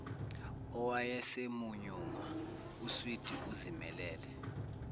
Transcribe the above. owayesemunyunga uswidi ezimelele